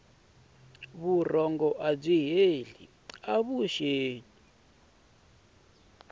vurhonga byi ta hile vuxeni